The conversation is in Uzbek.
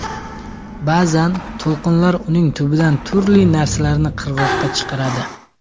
Ba’zan to‘lqinlar uning tubidan turli narsalarni qirg‘oqqa chiqaradi.